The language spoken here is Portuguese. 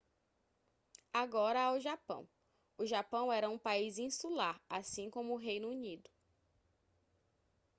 agora ao japão o japão era um país insular assim como o reino unido